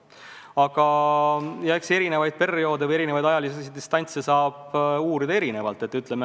Aga eks erinevaid perioode saab eri distantsilt uurida erinevalt.